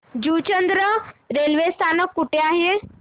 Juchandra railway स्थानक कुठे आहे